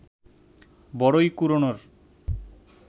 বরই কুড়োনোর